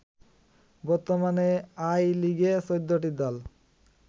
বর্তমানে আই লিগে ১৪ টি দল